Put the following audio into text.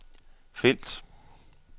felt